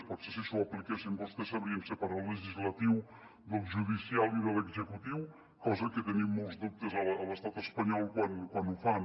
potser si s’ho apliquessin vostès sabrien separar el legislatiu del judicial i de l’executiu cosa que en tenim molts dubtes a l’estat espanyol quan ho fan